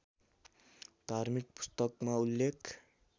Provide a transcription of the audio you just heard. धार्मिक पुस्तकमा उल्लेख